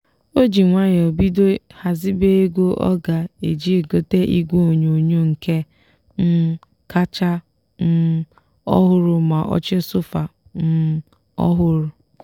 o ji nwayọọ bido ghazibe ego ọ ga eji gote igwe onyonyo nke um kacha um ọhụrụ ma oche sofa um ọhụrụ.